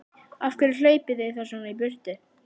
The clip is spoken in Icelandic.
Af hverju hlaupið þið þá svona í burtu?